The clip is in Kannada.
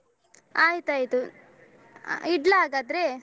ಆಯ್ತಾಯ್ತು ಅ ಇಡ್ಲ ಹಾಗಾದ್ರೆ.